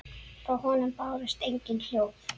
Frá honum bárust engin hljóð.